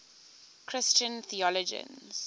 christian theologians